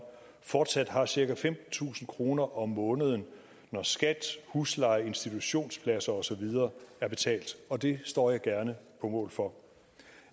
fortsat har cirka femtentusind kroner om måneden når skat husleje institutionspladser og så videre er betalt og det står jeg gerne på mål for